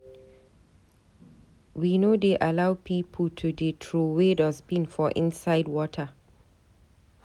We no dey allow pipo to dey troway dustbin for inside water.